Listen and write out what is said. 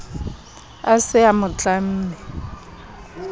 a se a mo tlamme